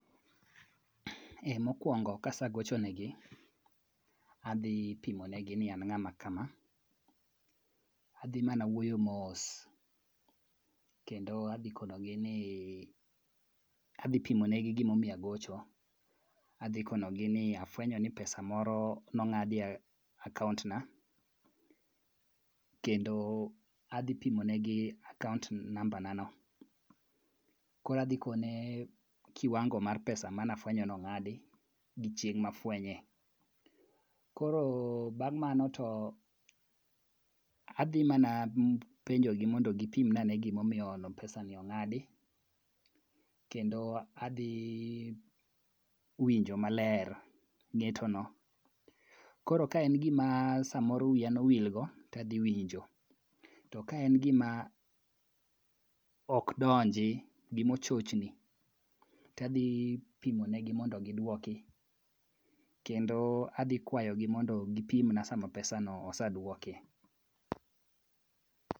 Mokwongo kasegocho ne gi, adhi pimonegi ni an ng'ama kama. Adhi mana wuoyo mos kendo adhi kono gi ni adhi pimonegi gimomiyo agocho. Adhi konogi ni afwenyo ni pesa moro ning'adi e akount na. Kendo adhi pimonegi akount namba na no. Koro adhi kone kiwango mar pesa mane afweny nong'adi gi chieng' mafwenye. Koro bang' mano to adhi mana penjo gi mondo gipim na ane gimomiyo pesa ni ong'adi. Kendo adhi winjo maler ng'eto no. Koro ka en gima samoro wiya nowilgo to adhi winjo. To ka en gima ok donji, gima ochochni to adhi pimonegi mondo giduoki kendo adhi kwayogi mondo gipimna sama pesa no oseduoki.